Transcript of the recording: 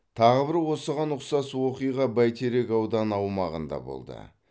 тағы бір осыған ұқсас оқиға бәйтерек ауданы аумағында болды